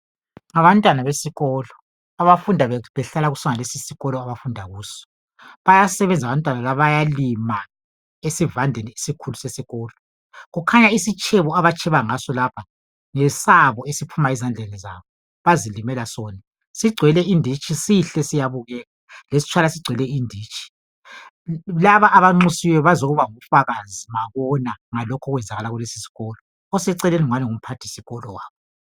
ngabantwana besikolo abafunda behklala kusonalesi isikolo abafunda kuso bayasebenza abantwana laba bayalima esivandeni esikhulu sesikolo kukhanya isitshebo abatsheba ngaso lapha ngesabo esiphuma ezandleni zabo abazilimela sona sigcwele inditshi sihle siyabukeka lesitshwala sigcwele inditshi laba abanxusiweyo bazoba ngofakazi ngokubona lokhu pkwenzakala kulesi isikolo oseceleni ngani ngumphthisikolo wabo